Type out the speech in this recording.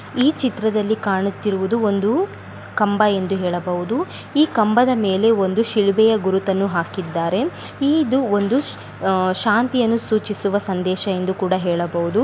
ಈ ಚಿತ್ರದಲ್ಲಿ ಕಾಣುತ್ತಿರುವುದು ಒಂದು ಕಂಬ ಎಂದು ಹೇಳಬಹುದು ಈ ಕಂಬದ ಮೇಲೆ ಒಂದು ಶಿಲುಬೆಯ ಗುರುತನ್ನು ಹಾಕಿದ್ದಾರೆ ಇದು ಒಂದು ಆಹ್ಹ್ ಶಾಂತಿಯನ್ನು ಸೂಚಿಸುವ ಸಂದೇಶ ಎಂದು ಕೂಡ ಹೇಳಬಹುದು.